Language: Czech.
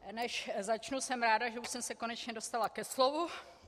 Než začnu, jsem ráda, že už jsem se konečně dostala ke slovu.